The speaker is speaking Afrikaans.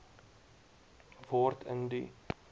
word in die